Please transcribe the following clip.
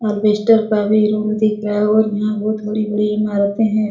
अल्बेस्टर का भी रूम दिख रहा और यहां बहुत बड़ी-बड़ी इमारतें हैं।